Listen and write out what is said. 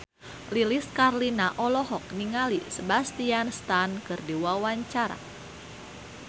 Lilis Karlina olohok ningali Sebastian Stan keur diwawancara